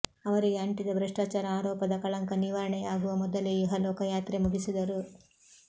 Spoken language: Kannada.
ಅವರಿಗೆ ಅಂಟಿದ ಭ್ರಷ್ಟಾಚಾರ ಆರೋಪದ ಕಳಂಕ ನಿವಾರಣೆಯಾಗುವ ಮೊದಲೇ ಇಹಲೋಹ ಯಾತ್ರೆ ಮುಗಿಸಿದರು